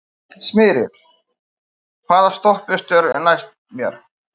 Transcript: Smyrill, hvaða stoppistöð er næst mér?